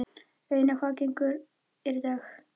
Auðna, hvaða dagur er í dag?